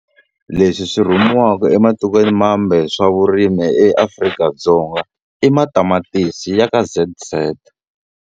Leswi swi rhumiwaku ematikweni mambe swa vurimi eAfrika-Dzonga i matamatisi ya ka Z_Z.